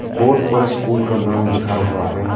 Board पर school का नाम लिखा हुआ है।